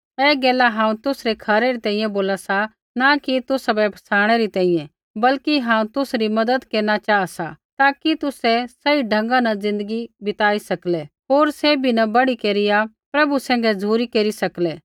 ऐ गैल हांऊँ तुसरै खरै री तैंईंयैं बोला सा न कि तुसाबै फसाणै री तैंईंयैं बल्कि हांऊँ तुसरी मज़त केरना चाहा सा ताकि तुसै सही ढंगा न ज़िन्दगी बिताई सकलै होर सैभी न बढ़ी केरिया प्रभु सैंघै झ़ुरी केरी सकलै